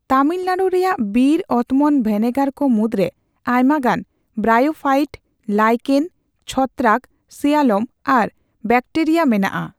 ᱛᱟᱢᱤᱞᱱᱟᱲᱩ ᱨᱮᱭᱟᱜ ᱵᱤᱨ ᱚᱛᱢᱚᱱ ᱵᱷᱮᱱᱮᱜᱟᱨ ᱠᱚ ᱢᱩᱫᱽᱨᱮ ᱟᱭᱢᱟ ᱜᱟᱱ ᱵᱨᱟᱭᱳᱯᱷᱟᱭᱤᱴ, ᱞᱟᱭᱠᱮᱱ, ᱪᱷᱚᱛᱛᱨᱟᱠ, ᱥᱤᱭᱟᱞᱚᱢ ᱟᱨ ᱵᱮᱴᱮᱨᱤᱭᱟ ᱢᱮᱱᱟᱜᱼᱟ ᱾